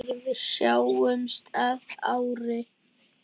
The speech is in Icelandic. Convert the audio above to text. Sjáumst að ári.